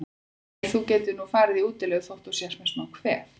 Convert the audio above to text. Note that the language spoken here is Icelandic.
Nei, þú getur nú farið í útilegu þótt þú sért með smá kvef.